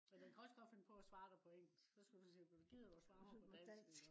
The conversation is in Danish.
men den kan også godt finde på at svare dig på engelsk. så skal du sige gider du at svare mig på dansk